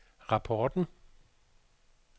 rapporten